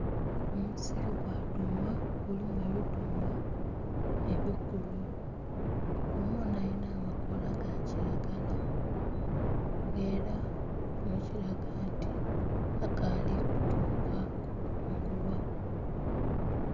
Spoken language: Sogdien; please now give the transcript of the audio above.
Omusiri gwa dhuuma gulimu ebidhuuma ebikulu, dhuuma ono alina amakoola ga kiragala era kino kiraga nti akaali kutuuka kukungulwa.